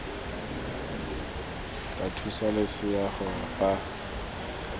tla thusa losea gore fa